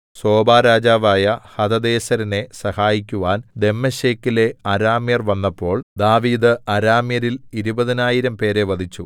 സോബാരാജാവായ ഹദദേസെരിനെ സഹായിക്കുവാൻ ദമ്മേശെക്കിലെ അരാമ്യർ വന്നപ്പോൾ ദാവീദ് അരാമ്യരിൽ ഇരുപതിനായിരം പേരെ വധിച്ചു